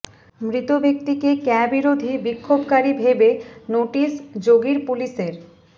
মৃত ব্যক্তিকে ক্যা বিরোধী বিক্ষোভকারী ভেবে নোটিশ যোগীর পুলিশের